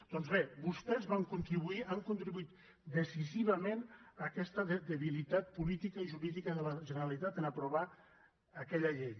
doncs bé vostès van contribuir hi han contribuït decisivament en aquesta debilitat política i jurídica de la generalitat en aprovar aquella llei